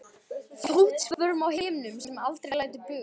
Fótsporum á himnum sem aldrei lætur bugast.